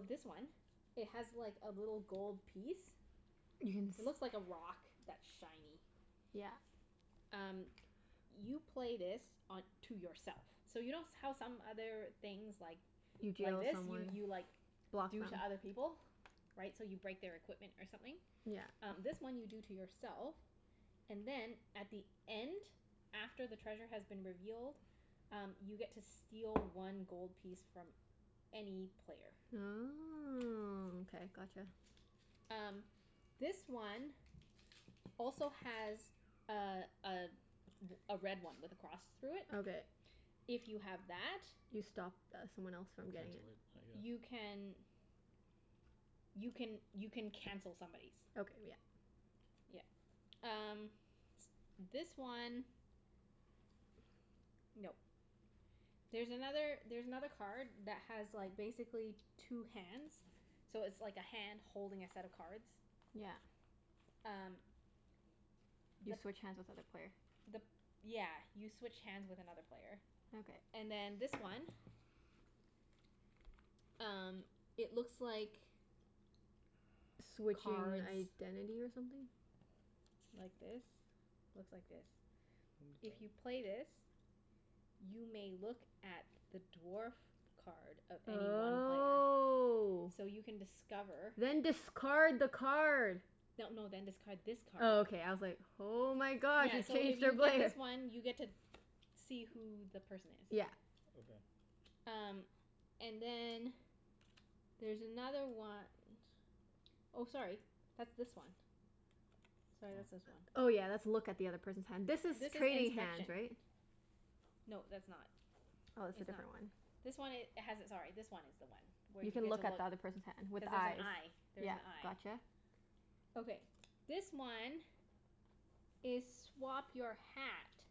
this one it has like, a little gold piece. You can s- Looks like a rock that's shiny. Yeah. Um, you play this on to yourself. So you know s- how some other things like You like deal to this? You someone. you like Block them. do to other people? Right? So you break their equipment or something? Yeah. Um, this one you do to yourself. And then at the end after the treasure has been revealed um, you get to steal one gold piece from any player. Oh, okay. Gotcha. Um, this one also has a a r- a red one with a cross through it. Okay. If you have that You stop th- someone else from You getting cancel it. it, I you guess. can you can, you can cancel somebody's. Okay, yeah. Yeah. Um S- this one No. There's another, there's another card that has like, basically two hands. So it's like a hand holding a set of cards. Yeah. Um You The switch hands with other player. the p- yeah, you switch hands with another player. Okay. And then this one Um, it looks like Switch cards your identity or something? like this. Looks like this. If you Mkay. play this you may look at the dwarf card of any one player. Oh. So you can discover Then discard the card! No no, then discard this Oh, card. okay. I was like Oh my god, Yeah, so if you play this one you get to see who the person is. Yeah. Okay. Um, and then there's another one Oh, sorry. That's this one. Sorry, that's Oh. this one. Oh yeah, that's look at the other person's hand. This This is is trading inspection. hands, right? No, that's not. Oh, it's a It's not. different one. This one i- has it, sorry, this one is the one. Where You you can get to look at look the other person's hand. With Cuz there's an eyes. eye. There's Yeah, an eye. gotcha. Okay, this one is swap your hat.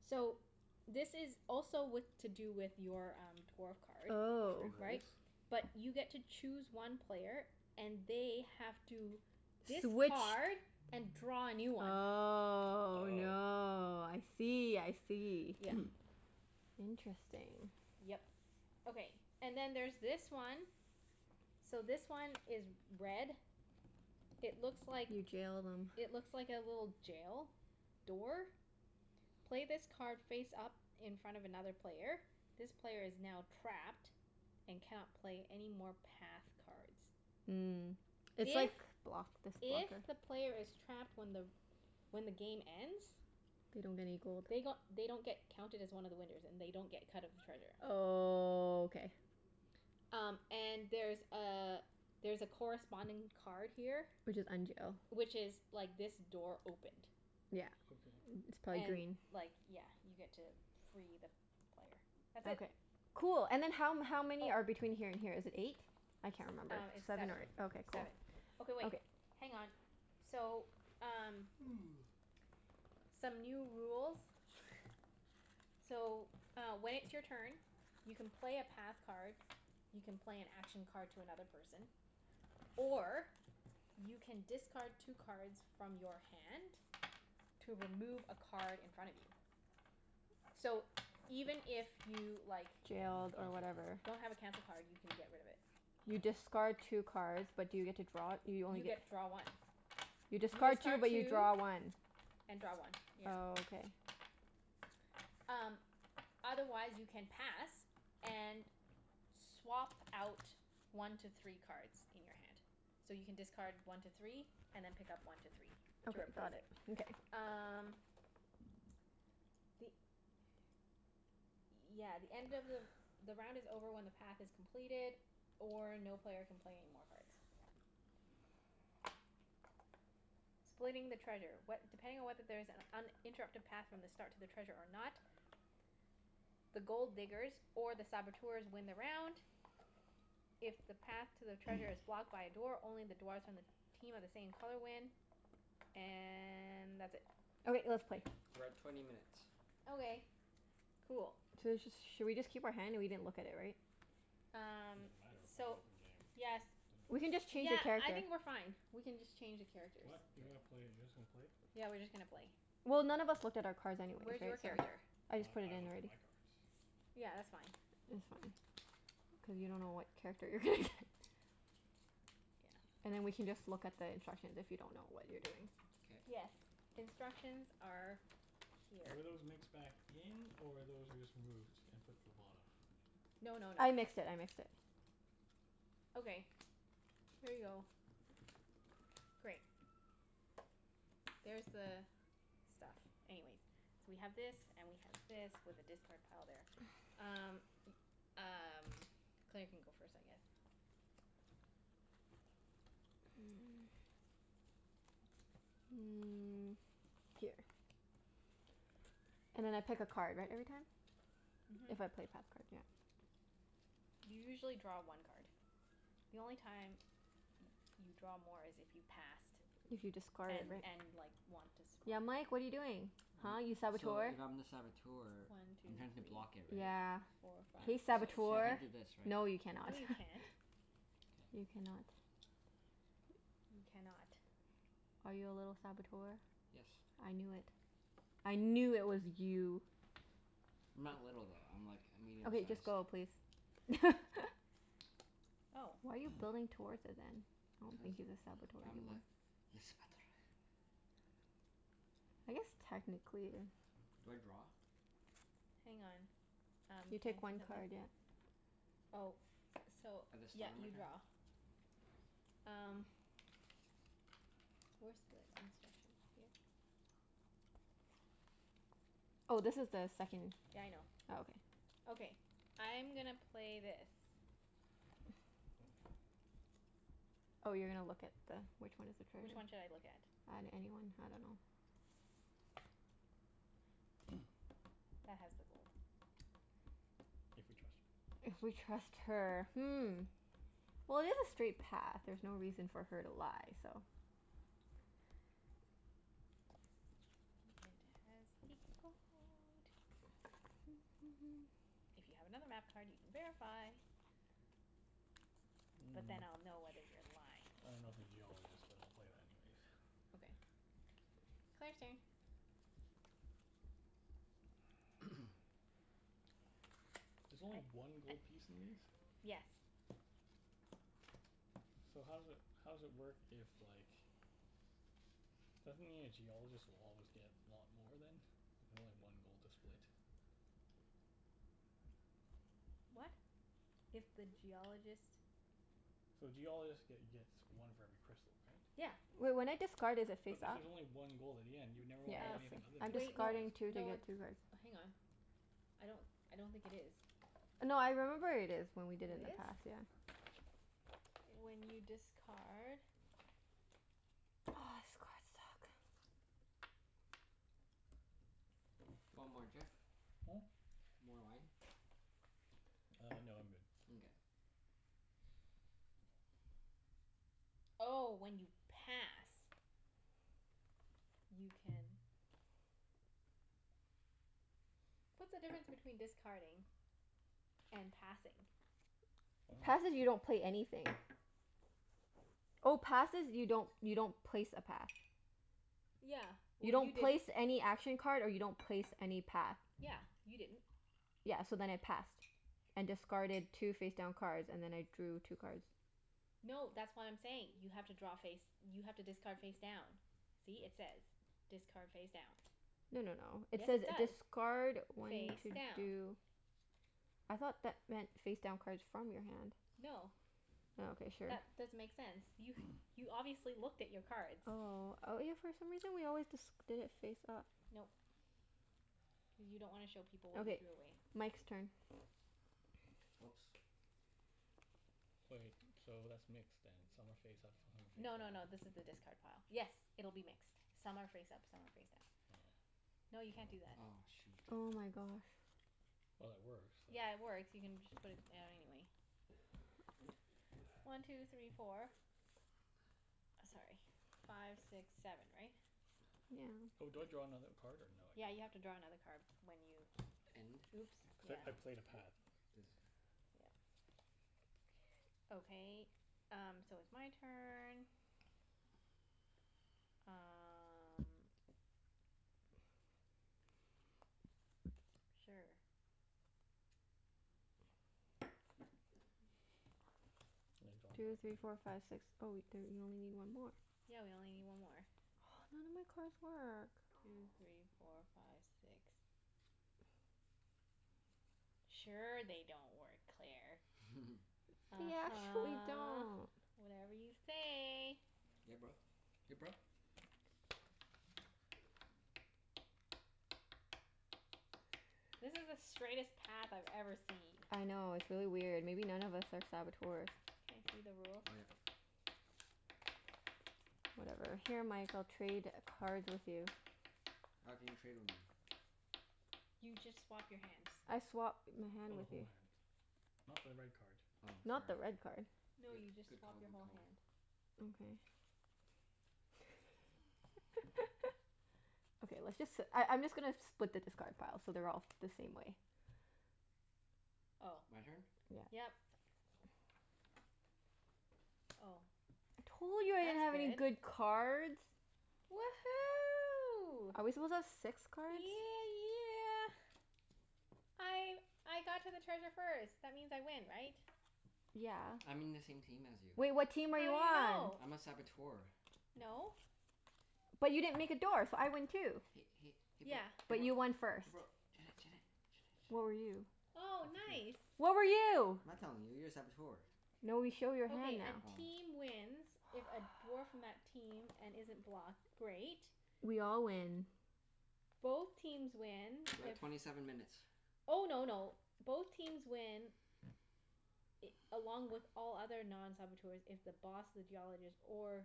So, this is also with, to do with your um, dwarf card. Oh. Trade rules? Right? But you get to choose one player and they have to Switch discard and draw a new one. Oh Oh. no. I see, I see. Yeah. Interesting. Yep. Okay. And then there's this one. So, this one is red It looks like You jailed him. It looks like a little jail door. Play this card face up in front of another player. This player is now trapped and cannot play any more path cards. Mm. It's If like block this if blocker. the player is trapped when the when the game ends They don't get any gold. they g- they don't get counted as one of the winners. And they don't get a cut of the treasure. Oh, k. Um, and there's a there's a corresponding card here Which is unjail. which is like this door opened. Yeah. Okay. It's probably And green. like, yeah, you get to free the player. That's it. Okay. Cool. And then how m- how many are Oh. between here and here? Is it eight? I S- can't remember. um, it's Seven or seven. Seven. ei- okay, cool. Seven. Okay wait, Okay. hang on. So, um some new rules. So, uh when it's your turn you can play a path card you can play an action card to another person or you can discard two cards from your hand to remove a card in front of you. So, even if you, like Don't have a Jailed or cancel whatever. card. don't have a cancel card, you can get rid of it. You Oh. discard two cards but do you get to draw it? You only You get get draw one. You You discard two discard but you two draw one. and draw one, yeah. Oh, okay. Um, otherwise you can pass and swap out one to three cards in your hand. So, you can discard one to three and then pick up one to three to Okay, got replace it. it. Mkay. Um the, yeah, the end of the the round is over when the path is completed or no player can play any more cards. Splitting the treasure. What, depending on whether there is an uninterrupted path from the start to the treasure or not the Gold Diggers or the Saboteurs win the round. If the path to the treasure is blocked by a door, only the dwarfs from the team of the same color win. And that's it. Okay. Let's K, play. we're at twenty minutes. Okay. Cool. So let's just Should we just keep our hand? We didn't look at it, right? It Um doesn't matter. We're playing So, open game. yes. Doesn't We can really just matter. change Yeah, the cards I here. think we're fine. We can just change the characters. What? You gonna Okay. play, you're just gonna play? Yeah, we're just gonna play. Well, none of us looked at our cards anyway, Where's your right? So character? I just We- put it I in looked at already. my cards. Yeah, that's fine. Oh, It's fine. okay. Cuz you don't know what character you're gonna get. Yeah. And then we can just look at the instructions if you don't know what you're doing. K. Yes. Instructions are here. Were those mixed back in, or those were just removed? And put to the bottom? No no no. I mixed it. I mixed it. Okay. Here you go. Great. There's the stuff. Anyways So we have this, and we have this, with the discard pile there. Um, y- um, Claire can go first I guess. Mm, here. And then I pick a card, right? Every time? Mhm. If I play a path card, yeah. You usually draw one card. The only time y- you draw more is if you passed If you discarded, and right? and like, want to swap. Yeah, Mike? What are you doing? Huh, you I'm, so, Saboteur? if I'm the Saboteur One two I'm trying to block it, three right? Yeah. four I, five Hey six so seven. so I Saboteur! can't do this, right? No, you cannot. No you can't. K. You cannot. You cannot. Are you a little Saboteur? Yes. I knew it. I knew it was you. I'm not little, though. I'm like, a medium Okay, just size. go please. Oh. Why are you building towards it, then? I don't Cuz think he's a Saboteur I'm the le Saboteur. I guess technically Do I draw? Hang on. Um, You can take I see one something? card, yeah. Oh, so, At the yeah, start of my you turn? draw. Um where's the instructions? Here? Oh, this is the second Yeah, I know. Oh, okay. Okay. I'm gonna play this. Oh, you're gonna look at the, which one is the card? Which one should I look at? On any one, I dunno. That has the gold. If we trust her. If we trust her. Hmm. Well, it is a straight path. There's no reason for her to lie, so It has the gold. If you have another map card you can verify. But then Mm. I'll know whether you're lying. I don't know if the Geologist, but I'll play that anyways. Okay. Claire's turn. There's only I I one gold piece in these? Yes. So how does it, how does it work if like Doesn't it mean a Geologist will always get lot more then? If you only have one gold to split? What? If the Geologist So Geologist get gets one for every crystal, right? Yeah. Wait, when I discard is it But face this up? is only one gold at the end. You'd never Yeah, wanna be Uh, it anything is other so I'm than the wait. No discarding Geologist. two to no, get it's two cards. Hang on. I don't I don't think it is. No, I remember it is, when we It did in the is? past. Yeah. When you discard Oh, this cards suck. Do you want more, Jeff? Hmm? More wine? Uh, no, I'm good. Nkay. Oh, when you pass. You can What's the difference between discarding and passing? I dunno. Passing, you don't pay anything. Oh, passes you don't, you don't place a path. Yeah. You Well, you don't place didn't any action card and you don't place any path. Yeah. You didn't. Yeah, so then I passed. And discarded two face down cards, and then I drew two cards. No, that's what I'm saying. You have to draw face, you have to discard face down. See? It says, "Discard face down." No no no, it Yes, says it does. discard when Face to down. do I thought that meant face down cards from your hand. No. Oh, okay. Sure. That doesn't make sense. You you obviously looked at your cards. Oh, oh yeah for some reason we always disc- did it face up. Nope. Cuz you don't wanna show people what you Okay, threw away. Mike's turn. Oops. Wait, so that's mixed then. Some are face up, some of them No no no, are face down. this is the discard pile. Yes, it'll be mixed. Some are face up, some are face down. Oh. No, you can't do that. Aw, shoot. Oh my gosh. Well, it works, so Yeah, it works. You can just put it down anyway. One two three four. Sorry, five six seven, right? Yeah. Oh, do I draw another card, or no, Yeah, I you have to don't? draw another card when you And Oops, yeah. Cuz I I played a path. This. Yep. Okay, um, so it's my turn. Um Sure. I draw Two three four another five six. Oh wait, there, you only need one more. Yeah, we only need one more. None of my cards work. Two three four five six. Sure they don't work, Claire. They actually uh-huh. don't. Whatever you say. Yeah, bro. Ya bro? This is the straightest path I've ever seen. I know, it's really weird. Maybe none of us are Saboteurs. Can I see the rules? Oh yeah. Whatever. Here Mike, I'll trade a cards with you. How can you trade with me? You just swap your hands. I swap my hand Oh, the with whole you. hand. Not the red card. Oh, Not the sorry. red card. No, Good you just good swap call. your Good whole call. hand. Okay. Okay, let's just si- I I'm just gonna split the discard pile so they're all the same way. Oh. My turn? Yeah. Yep. Oh. Told you I didn't have any That's good. good cards. Woohoo. Are we supposed to have six cards? Yeah yeah! I I got to the treasure first. That means I win, right? Yeah. I'm in the same team as you. Well, what team are you How do you on? know? I'm a Saboteur. No. But you didn't make a door, so I win Hey too. hey hey bro Yeah. hey But bro you won first. hey bro Junette Junette Junette What were you? Junette Oh, nice. What were you? I'm not telling you. You're a Saboteur. No, we show your hand Okay, a now. Oh. team wins if a dwarf from that team, and isn't blocked Great. We all win. Both teams win We're at if twenty seven minutes. Oh no no, both teams win i- along with all other non-saboteurs if the Boss, the Geologist, or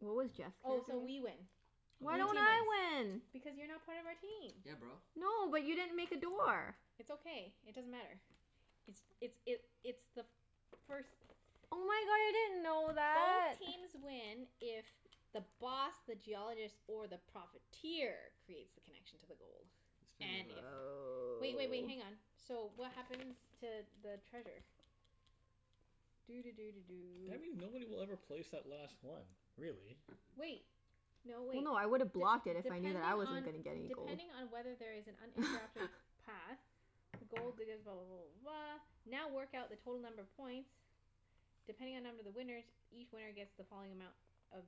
What was Jeff's Oh, character? so we win. Why Blue don't team wins. I win? Because you're not part of our team. Yeah, bro. No, but you didn't make a door. It's okay. It doesn't matter. It's it's it it's the first Oh my god, I didn't know Both that! teams win if the Boss, the Geologist, or the Profiteer creates the connection to the gold. Let's play And another if, round. wait wait wait, hang on. Oh. So, what happens to the treasure? Doo doo doo doo Do I doo. mean nobody will ever place that last one, really. Wait! No, No wait. no, I D- woulda blocked it if I knew that I depending wasn't on gonna get any gold. depending on whether there is an uninterrupted path, the gold diggers blah blah blah blah blah now work out the total number of points depending on number of the winners each winner gets the following amount of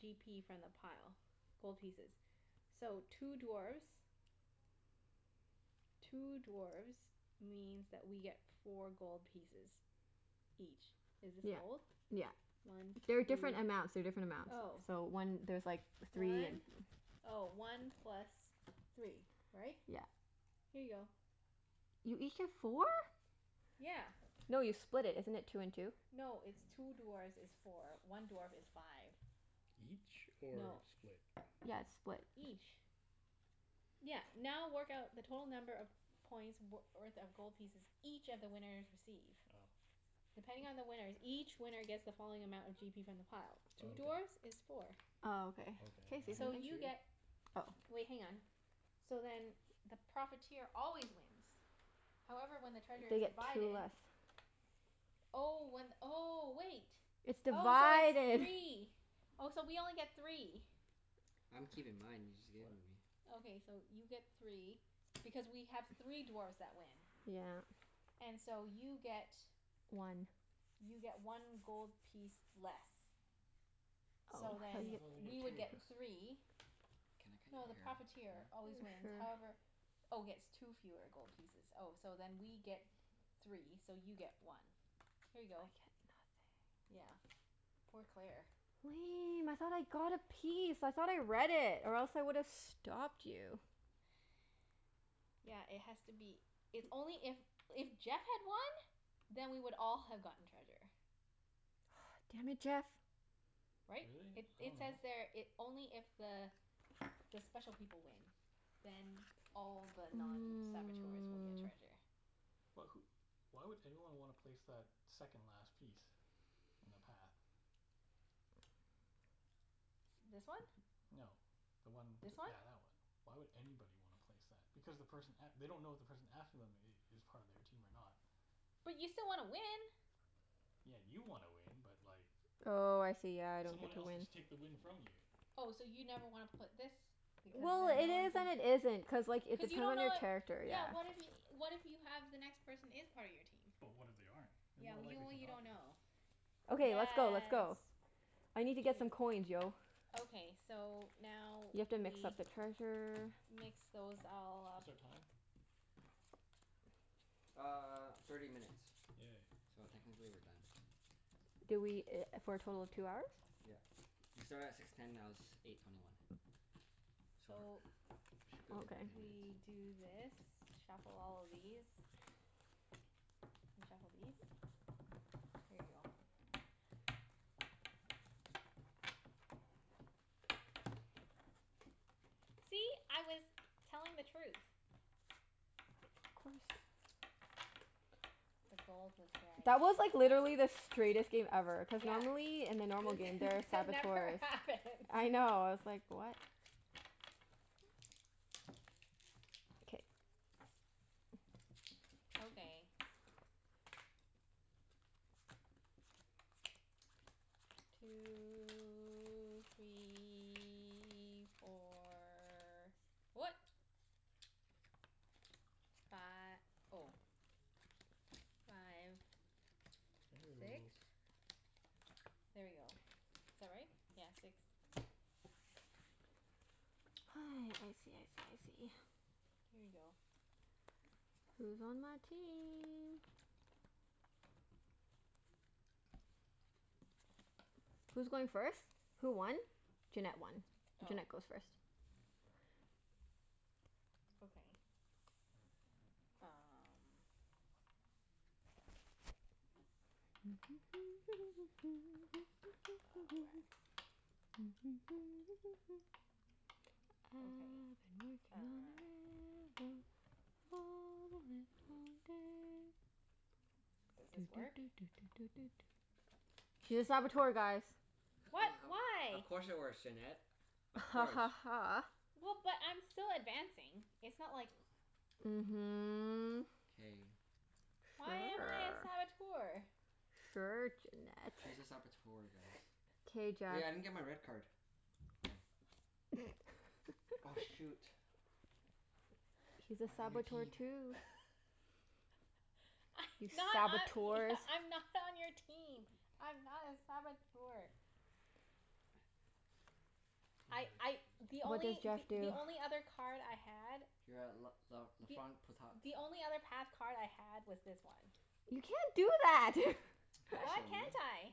g p from the pile. Gold pieces. So, two dwarfs two dwarfs means that we get four gold pieces. Each. Is this Yeah. gold? Yeah. One two They're different amounts. They're different amounts. Oh. So one, there's like three and One, oh, one plus three. Right? Yeah. Here you go. You each get four? Yeah. No, you split it. Isn't it two and two? No, it's two dwarfs is four. One dwarf is five. Each? Or No. split? Yeah, it's split. Each. Yeah, now work out the total number of points w- worth of gold pieces each of the winners receive. Oh. Depending on the winners, each winner gets the following amount of g p from the pile. Oh Two okay. dwarfs is four. Oh, okay. Can Okay, I see and I So something? get you two? get Oh. Wait, hang on. So then the Profiteer always wins. However, when the treasure They is get two divided. less. Oh, one, oh, wait. It's Oh, so it's divided. three. Oh, so we only get three. I'm keeping mine. You just gave them What? to me. Okay, so you get three. Because we have three dwarfs that win. Yeah. And so you get One. you get one gold piece less. What? So Oh, how do then, I thought they get we you two would get get t- less. three Can I No, the What? cut your hair, Profiteer Claire? always wins, Sure. however Oh, gets two fewer gold pieces Oh, so then we get three, so you get one. Here you I get go. nothing. Yeah. Poor Claire. Lame, I thought I got a piece. I thought I read it. Or else I would've stopped you. Yeah, it has to be, it's only if, if Jeff had won then we would all have gotten treasure. Ah, damn it, Jeff! Right? Really? It I it says dunno. there it, only if the the special people win then all the non-saboteurs will get Mm. treasure. But wh- why would anyone wanna place that second last piece? In the path? This one? No. The one t- This one? yeah, that one. Why would anybody wanna place that? Because the person a- they don't know if the person after them i- is part of their team or not. But you still wanna win. Yeah, you wanna win, but like Oh, I see. Yeah. I don't get someone to else could win. just take the win from you. Oh, so you never wanna put this because Well, then it no one is can and it isn't. Cuz like, it Cuz you depends don't on know your what character, Yeah, yeah. what if y- what if you have the next person is part of your team? But what if they aren't? They're Yeah, more well y- likely well to you not don't be. know. Okay, let's go. Let's Yes. go. I need to get some Wait. coins, yo. Okay. So, now You we have to mix up the treasure. mix those all up. What's our time? Uh, thirty minutes. Yay. So technically we're done. Did we i- for a total of two hours? Yeah. We started at six ten, now it's eight twenty one. So So, we should be over Okay. ten minutes. we do this. Shuffle all of these. And shuffle these. Here you go. See? I was telling the truth. Of course. The gold was That was like, literally the straightest game ever. Cuz Yeah. normally, in the normal game This there are that never Saboteurs. happens. I know. I was like, what? K. Okay. Two three four. What? Fi- oh. Five. Bending the Six? rules. There you go. Is that right? Yeah, six. I see, I see, I see. Here you go. Who's on my team? Who's going first? Who won? Junette won. Oh. Junette goes first. Okay. Um Oh, rats. I've Okay, been uh working on the railroad, all the live long day. Doo Does doo this doo work? doo doo doo doo doo. She's a Saboteur, guys. H- we What? h- of Why? course it works, Junette. Of Ha course. ha ha. Well, but I'm still advancing. It's not like Mhm. K. Why am I a Sure. Saboteur? Sure, Junette. She's a Saboteur, guys. K, Jeff. Hey, I didn't get my red card. Oh. Oh shoot. He's a I'm on your Saboteur team. too. I You not I Saboteurs. e- I'm not on your team. I'm not a Saboteur. This I is I, really the confusing. What did only Jeff th- the do? only other card I had You're at l- l- la Th- front potat. the only other path card I had was this one. You can't do that! You can't Why show me. can't I?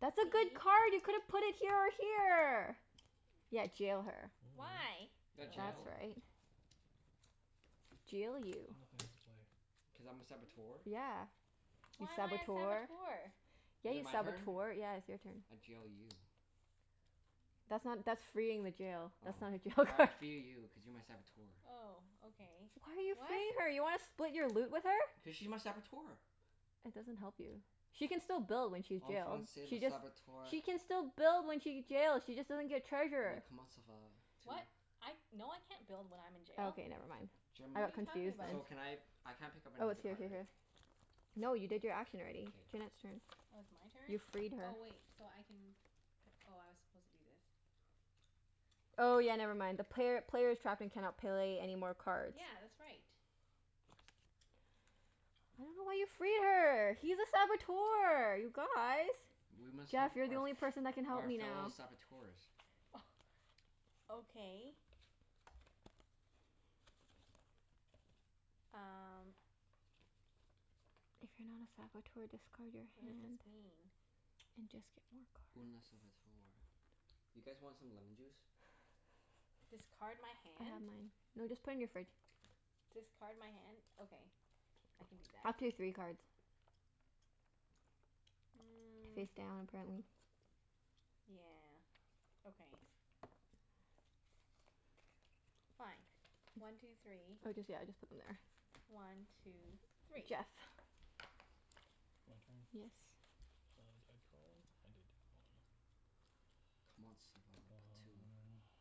That's a See? good card! You could have put it here or here! Yeah, jail her. Mm. Why? I You got That's jailed. dunno. right. Jail you. I've nothing else to play. Cuz I'm a Saboteur. Yeah. You Why am I a Saboteur. Saboteur? Yeah, Is it you my turn? Saboteur. Yeah, it's your turn. I jail you. That's not, that's freeing the jail. Oh. That's not a jail All right, I card. free you cuz you're my Saboteur. Oh, okay. Why are you What? freeing her? You wanna split your loot with her? Cuz she's my Saboteur. That doesn't help you. She can still build when she's En jail. Français, le She just Saboteur. She can still build when she get jail she just doesn't get Le treasure. comment ça va tu? What? I, no I can't build when I'm in jail. Okay, never mind. I Jim What are got you talking confused there. so about? can I I can't pick up I was another here card, here right? here. No, you did your action already. K. Junette's turn. Oh, it's my You turn? freed her. Oh, wait, so I can p- oh, I was supposed to do this. Oh yeah, never mind. The player player's trapped and cannot play any more cards. Yeah, that's right. I don't know why you free her. He's a Saboteur, you guys! We must help Jeff, you're the our only person that can f- help our me fellow now. Saboteurs. Oh, okay. Um If you're not a Saboteur, discard your What does this hand. mean? And just get more Une a cards. Saboteur. You guys want some lemon juice? K. Discard my I have hand? mine. No, just put in your fridge. Discard my hand? Okay. I can do that. Up to three cards. Mm. Face down, apparently. Yeah, okay. Fine. One two three. Oh just, yeah, just put them there. One two three. Jeff. My turn? Yes. Uh, did I draw one? I did. On. Comment ça va la patou. Uh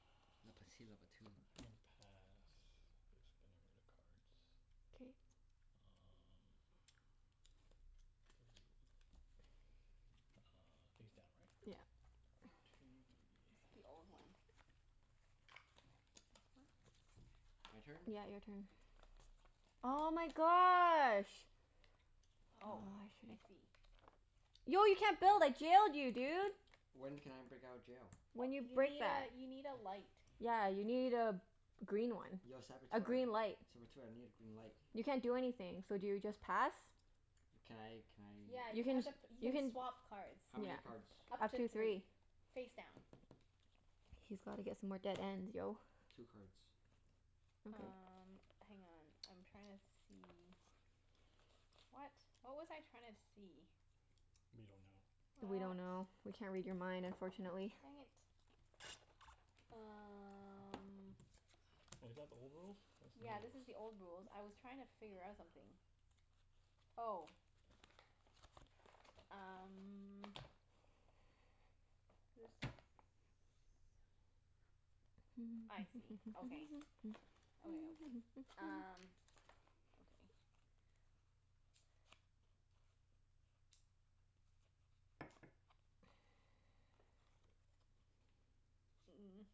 La patit la patou. I'm gonna pass. Just getting rid of cards. K. Um, hmm. Uh, face down, right? Yeah. One two It's the three. old one. This one? My turn? Yeah, your turn. Oh my gosh. Oh, Oh, I I should've see. Yo, you can't build! I jailed you, dude! When can I break out of jail? When you You break need that. a, you need a light. Yeah, you need a green one. Yo A Saboteur, green light. Saboteur, I need a green light. You can't do anything. So do you just pass? Can I can I Yeah, You you can, have to p- you you can can swap cards. How Yeah. many cards? Up Up to to three. three. Face down. He's gotta get some more dead ends, yo. Two cards. Okay. Um, hang on. I'm trying to see What? What was I trying to see? We don't know. We What? don't know. We can't read your mind, unfortunately. Dang it. Um Wait, is that the old rules? That's new Yeah, this is rules. the old rules. I was trying to figure out something. Oh. Um This, I see. Okay. Okay, okay. Um Okay. Mm.